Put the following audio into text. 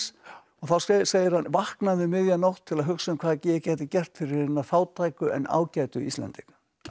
þá segir hann vaknaði um miðja nótt til að hugsa um hvað ég gæti gert fyrir hina fátæku en ágætu Íslendinga